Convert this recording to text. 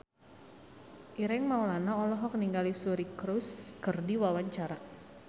Ireng Maulana olohok ningali Suri Cruise keur diwawancara